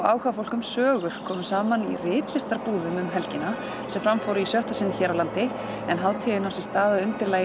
áhugafólk um sögur kom saman í ritlistarbúðum um helgina sem fram fóru í sjötta sinn hér á landi en hátíðin á sér stað að undirlagi